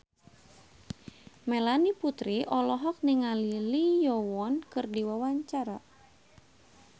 Melanie Putri olohok ningali Lee Yo Won keur diwawancara